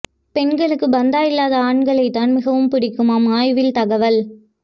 பெண்களுக்கு பந்தா இல்லாத ஆண்களை தான் மிகவும் பிடிக்குமாம் ஆய்வில் தகவல்